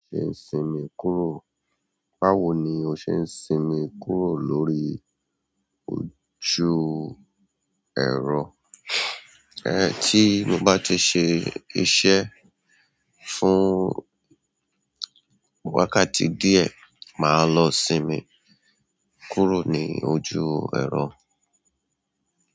Ṣe ń sinmi kúrò? Báwo ni o ṣe ń sinmi kúrò lórí ojú ẹ̀rọ? Ẹ̀, tí mo bá ti ṣe iṣẹ́ fún wákàtí díẹ̀, màá lọ sinmi kúrò ní ojú ẹ̀rọ.